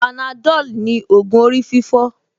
Panadol ni ògùn orí fífọ́